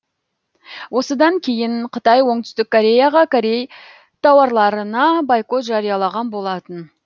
осыдан кейін қытай оңтүстік кореяға корей тауарларына бойкот жариялаған болатын